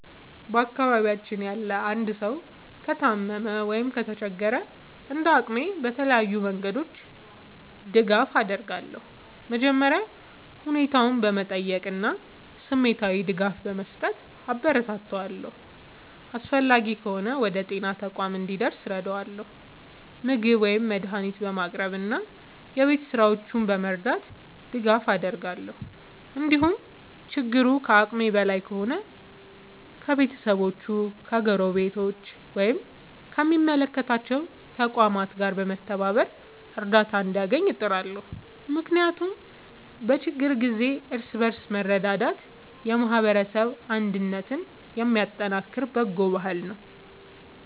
በአካባቢያችን ያለ አንድ ሰው ከታመመ ወይም ከተቸገረ፣ እንደ አቅሜ በተለያዩ መንገዶች ድጋፍ አደርጋለሁ። መጀመሪያ ሁኔታውን በመጠየቅ እና ስሜታዊ ድጋፍ በመስጠት አበረታታዋለሁ። አስፈላጊ ከሆነ ወደ ጤና ተቋም እንዲደርስ እረዳለሁ፣ ምግብ ወይም መድኃኒት በማቅረብ እና የቤት ሥራዎቹን በመርዳት ድጋፍ አደርጋለሁ። እንዲሁም ችግሩ ከአቅሜ በላይ ከሆነ ከቤተሰቦቹ፣ ከጎረቤቶች ወይም ከሚመለከታቸው ተቋማት ጋር በመተባበር እርዳታ እንዲያገኝ እጥራለሁ። ምክንያቱም በችግር ጊዜ እርስ በርስ መረዳዳት የማህበረሰብ አንድነትን የሚያጠናክር በጎ ባህል ነው።